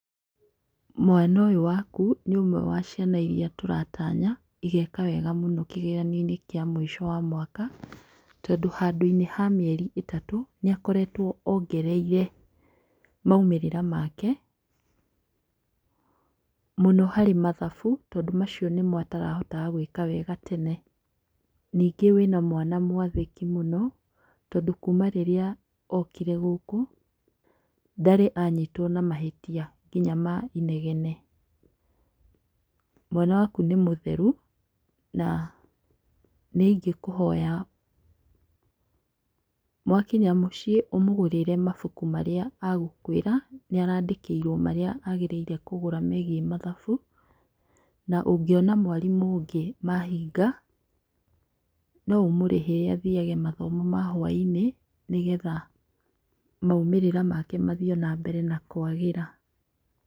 Mwana ũyũ waku nĩ ũmwe wa ciana iria tũratanya igeeka wega mũno kĩgeranio-inĩ kĩa mũico wa mwaka, tondũ handũ-inĩ ha mĩeri ĩtatũ, nĩ akoretwo ongereire maumĩrĩra make, mũno harĩ mathabu, tondũ macio nĩ mo atarahotaga gwĩka wega tene. Ningĩ wĩna mwana mwathĩki mũno, tondũ kuma rĩrĩa okire gũkũ, ndarĩ anyitwo na mahĩtia nginya ma inegene. Mwana waku nĩ mũtheru, na nĩ ingĩkũhoya mwakinya mũciĩ ũmũgũrĩre mabuku marĩa agũkwĩra. Nĩaraandĩkĩrwo marĩa agĩrĩirwo kugũra megiĩ mathabu, na ũngĩona mwarimũ ũngĩ mahinga, no ũmũrĩhĩre athiage mathomo ma hwaĩ-inĩ nĩgetha maumĩrĩra make mathiĩ o nambere na kwagĩra.